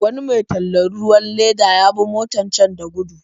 Wani mai tallan ruwan leda ya bi motar can da gudu.